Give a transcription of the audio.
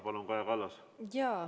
Palun, Kaja Kallas!